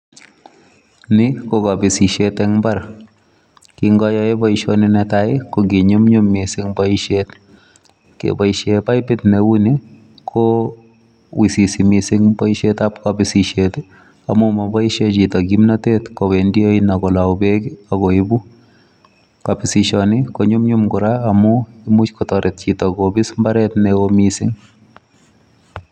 Ni ko kobisisiet en mbar. Ki ayae boisioni netai en mbar kokinyumnyum mising boisit. Keboisien baibut neu ni ko iususi mising boisietab bisisiet amun moboisien chito kimnatet kowendi oinet ak kolou beek ak koibu. Kobisisioni ko nyumnyum kora amun imuch kotoret chito kobis mbaret neo mising.